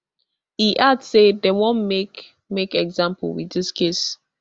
e add say dem wan make make example wit dis case